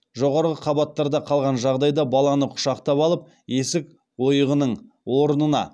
жоғарғы қабаттарда қалған жағдайда баланы құшақтап алып есік ойығының орнына